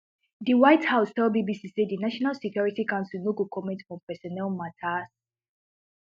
di white house tell bbc say di national security council no go comment on personnel matters